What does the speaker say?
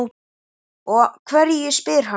Og hverju? spyr hann.